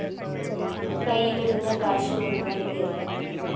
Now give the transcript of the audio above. കയ്യിലിരുന്ന കാശു മുഴുവന്‍ തീര്‍ന്നു